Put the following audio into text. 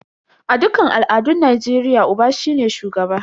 A dukkan al'adun Najeriya, Uba shine shugaba.